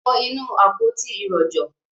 wọ inú “àpótí ìrojọ́”.